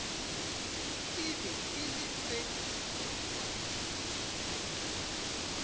e be e le se